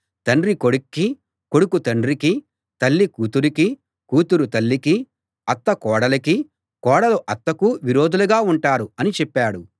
తండ్రి కొడుక్కీ కొడుకు తండ్రికీ తల్లి కూతురుకీ కూతురు తల్లికీ అత్త కోడలికీ కోడలు అత్తకూ విరోధులుగా ఉంటారు అని చెప్పాడు